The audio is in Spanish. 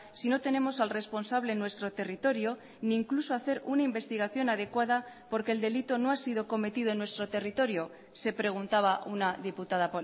si no tenemos al responsable en nuestro territorio ni incluso hacer una investigación adecuada porque el delito no ha sido cometido en nuestro territorio se preguntaba una diputada